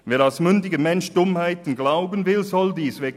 Wer als mündiger Mensch Dummheiten glauben will, soll dies tun;